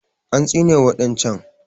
An tsine wa ɗan can